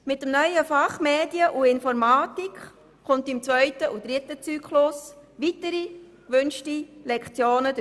Mit dem neuen Fach «Medien und Informatik» kommen im zweiten und dritten Zyklus weitere gewünschte Lektionen hinzu.